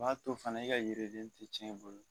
A b'a to fɛnɛ i ka yiriden ti cɛn i bolo